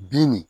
Bin nin